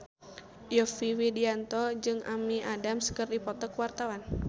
Yovie Widianto jeung Amy Adams keur dipoto ku wartawan